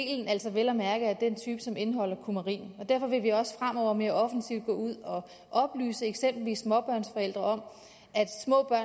vel at mærke er af den type som indeholder kumarin derfor vil vi også fremover mere offensivt gå ud og oplyse eksempelvis småbørnsforældre